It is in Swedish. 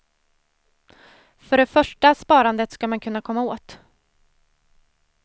För det första sparandet ska man kunna komma åt.